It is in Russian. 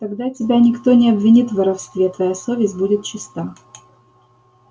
тогда тебя никто не обвинит в воровстве твоя совесть будет чиста